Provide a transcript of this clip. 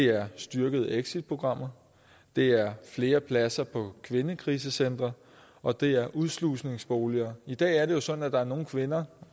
er styrkede exitprogrammer det er flere pladser på kvindekrisecentre og det er udslusningsboliger i dag er det jo sådan at der er nogle kvinder